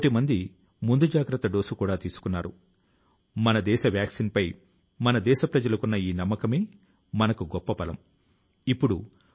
కాబట్టి ఉన్నతం గా ఆలోచించాలని ఉన్నతంగా కలలు కనాలని వాటిని సాకారం చేసేందుకు కృషి చేయాలని మన సంకల్పాన్ని మరోసారి చెప్పుకొందాం